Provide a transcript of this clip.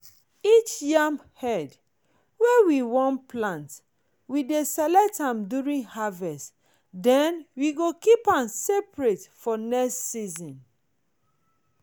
each yam head wey we wan plant we dey select am during harvest then we go keep am separate for next season.